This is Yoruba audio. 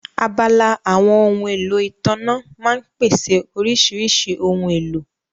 Abala àwọn ohun èlò ìtànná máa ń pèsè oríṣiríṣi ohun èlò